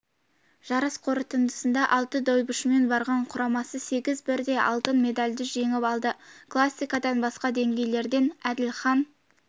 жарыс қорытындысында алты дойбышымен барған құрамасы сегіз бірдей алтын медальді жеңіп алды классикадан жасқа дейінгілерден әділхан